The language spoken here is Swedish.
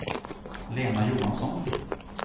Lena Johansson